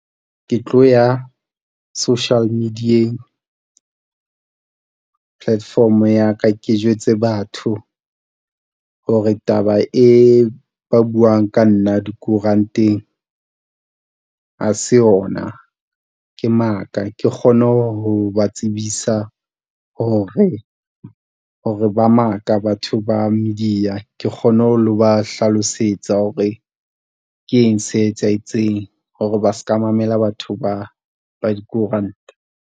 Ke tlo ya social media-eng platform ya ka ke jwetse batho hore taba e ba buang ka nna dikoranteng ha se yona ke maka. Ke kgone ho ba tsebisa hore ba maka batho ba media. Ke kgone ho lo ba hlalosetsa hore ke eng se etsahetseng hore ba s'ka mamela batho ba ba dikoranta.